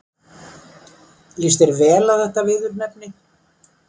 Líst þér vel á þetta viðurnefni?